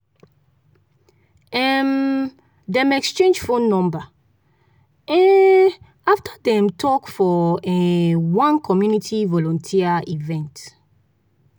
um dem exchange phone number um after dem talk for um one community volunteer event.